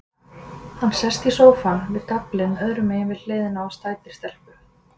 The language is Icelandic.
Hann sest í sófann, við gaflinn öðrumegin við hliðina á sætri stelpu.